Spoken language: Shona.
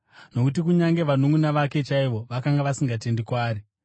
Nokuti kunyange vanunʼuna vake chaivo vakanga vasingatendi kwaari.